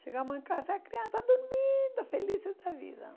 Chegamos em casa, as crianças dormindo, felizes da vida.